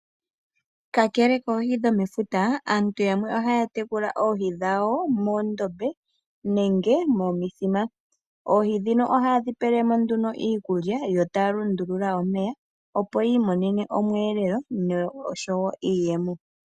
Kakele koohi dhomefuta, aantu yamwe ohaya tekula oohi dhawo moondombe nenge momithima. Oohi ndhino ohaye dhi pele mo nduno iikulya yo taya lundulula omeya opo yi imonene omweelelo oshowo iiyemo.